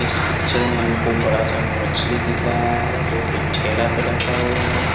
इस पिक्चर में हमको बड़ा सा मछली दिख रहा है जो कि ठेला पर रखा हुआ है।